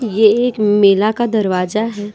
ये एक मेला का दरवाजा है।